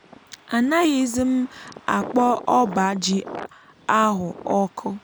a naghịzim akpọ ọbá ji ahú ọkụ